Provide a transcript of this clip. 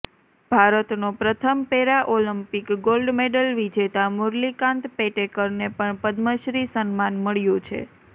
ભારતનો પ્રથમ paralympic gold medal વિજેતા મુરલીકાંત પેટેકરને પણ પદ્મશ્રી સન્માન મળ્યું છે